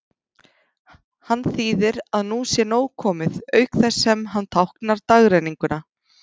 Hann þýðir að nú sé nóg komið, auk þess sem hann táknar dagrenninguna.